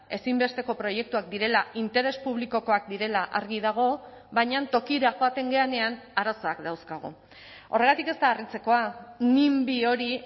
ezinbesteko proiektuak direla interes publikokoak direla argi dago baina tokira joaten garenean arazoak dauzkagu horregatik ez da harritzekoa nimby hori